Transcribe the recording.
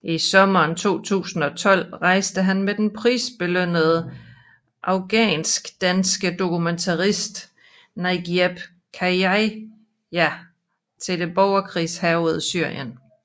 I sommeren 2012 rejste han med den prisbelønnede afghanskdanske dokumentarist Nagieb Khaja til det borgerkrigshærgede Syrien